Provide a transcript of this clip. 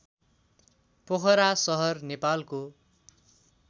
पोखरा सहर नेपालको